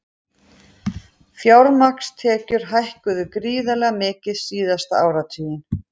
Fjármagnstekjur hækkuðu gríðarlega mikið síðasta áratuginn